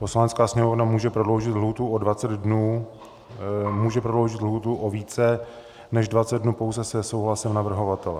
Poslanecká sněmovna může prodloužit lhůtu o 20 dnů, může prodloužit lhůtu o více než 20 dnů pouze se souhlasem navrhovatele.